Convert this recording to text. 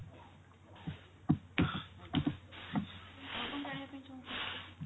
ଆଉ କଣ ଜାଣିବା ପାଇଁ ଚାହୁଁଛନ୍ତି ଆପଣ